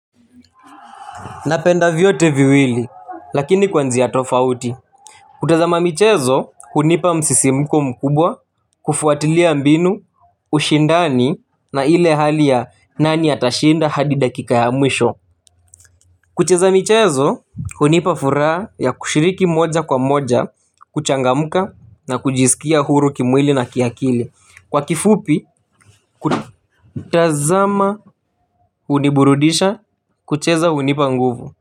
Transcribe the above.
Napenda viyote viwili, lakini kwanjiya tofauti. Kutazama michezo, unipa msisimko mkubwa, kufuatilia mbinu, ushindani, na ile hali ya nani atashinda hadi dakika ya mwisho. Kucheza michezo, unipa furaa ya kushiriki moja kwa moja, kuchangamuka, na kujisikia huru kimwili na kiyakili. Kwa kifupi, kutazama uniburudisha, kucheza unipa nguvu.